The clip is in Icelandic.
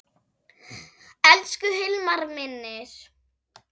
Elsku Hilmar minn.